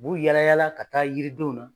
U b'u yalayala ka taa yiridenw na.